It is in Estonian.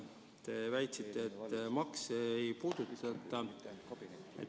Te väitsite, et makse ei puudutata.